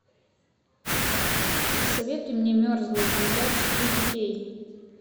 посоветуй мне мерзлая земля четыре кей